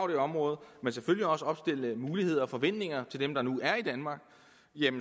det område men selvfølgelig også opstille muligheder og forventninger til dem der nu er i danmark